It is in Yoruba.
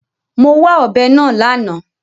Mo wá ọ̀bẹ náà lánàá.